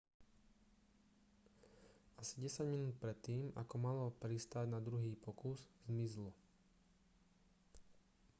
asi desať minút predtým ako malo pristáť na druhý pokus zmizlo